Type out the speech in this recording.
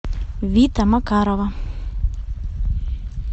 вита макарова